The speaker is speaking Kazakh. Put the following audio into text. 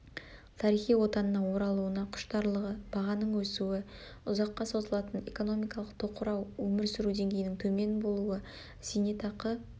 тарихи отанына оралуына құштарлығы бағаның өсуі ұзаққа созылатын экономикалық тоқырау өмір сүру деңгейінің төмен болуы зейнетақы